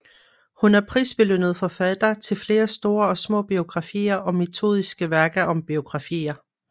Hun er prisbelønnet forfatter til flere store og små biografier og metodiske værker om biografier